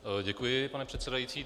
Děkuji, pane předsedající.